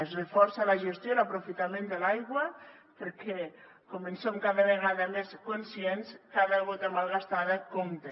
es reforça la gestió i l’aprofitament de l’aigua perquè com en som cada vegada més conscients cada gota malgastada compta